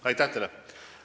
Aitäh teile!